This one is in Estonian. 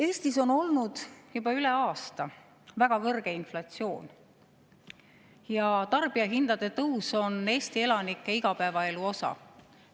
Eestis on olnud juba üle aasta väga kõrge inflatsioon ja tarbijahindade tõus on Eesti elanike igapäevaelu osa.